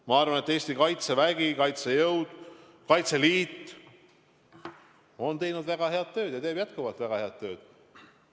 Ma arvan, et Eesti Kaitsevägi, kaitsejõud, Kaitseliit on teinud väga head tööd ja teevad jätkuvalt väga head tööd.